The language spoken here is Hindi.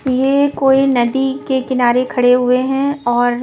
ये कोई नदी के किनारे खड़े हुए हैं और--